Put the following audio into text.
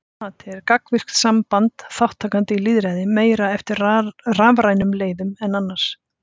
Að margra mati er gagnvirkt samband þátttakenda í lýðræði meira eftir rafrænum leiðum en annars.